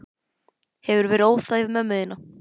Hefurðu verið óþæg við ömmu þína?